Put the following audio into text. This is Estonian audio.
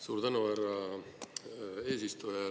Suur tänu, härra eesistuja!